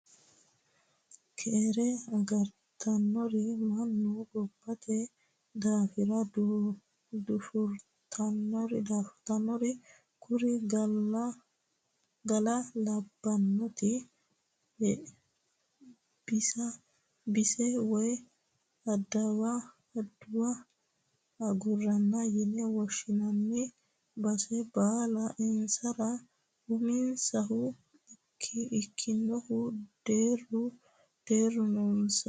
Keere agartanore mannu gobbate daafira dafurtanore kuri gala'labbote bisa woyi adawu agarano yine woshshinanni base bala insara uminsahu ikkinohu deeru deeru noonsa.